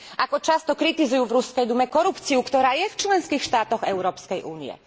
Ako často kritizujú v Ruskej dume korupciu, ktorá je v členských štátoch Európskej únie.